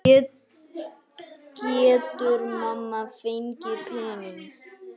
Getur mamma fengið pening?